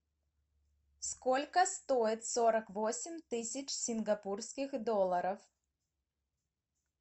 сколько стоит сорок восемь тысяч сингапурских долларов